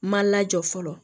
Ma lajɔ fɔlɔ